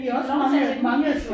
Giv dem lov til at vinde